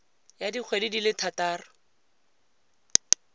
ya dikgwedi di le thataro